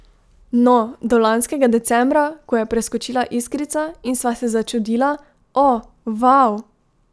No, do lanskega decembra, ko je preskočila iskrica in sva se začudila: 'O, vau.